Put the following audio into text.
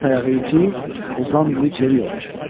At ayağı iti, Ozan dili çəvi yolar.